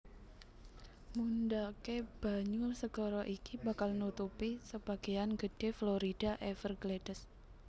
Mundhaké banyu segara iki bakal nutupi sebagéyan gedhé Florida Everglades